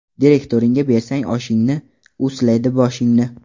Direktoringa bersang oshingni, u silaydi boshingni.